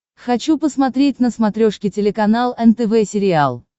хочу посмотреть на смотрешке телеканал нтв сериал